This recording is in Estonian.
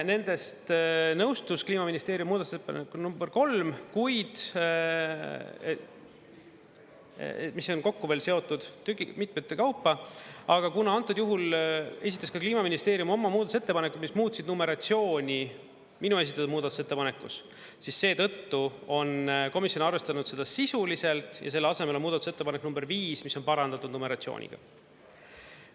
Nendest nõustus Kliimaministeeriumi muudatusettepanekuga nr 3, kuid mis on kokku veel seotud mitmete kaupa, aga kuna antud juhul esitas ka Kliimaministeerium oma muudatusettepanekud, mis muutsid numeratsiooni minu esitatud muudatusettepanekus, siis seetõttu on komisjon arvestanud seda sisuliselt ja selle asemel on muudatusettepanek nr 5, mis on parandatud numeratsiooniga.